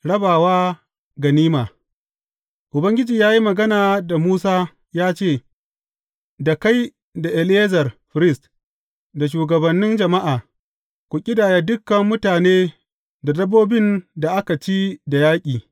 Rabawa ganima Ubangiji ya yi magana da Musa ya ce, Da kai da Eleyazar firist, da shugabannin jama’a, ku ƙidaya dukan mutane da dabbobin da aka ci da yaƙi.